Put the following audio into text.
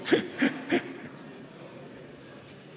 Aa, okei.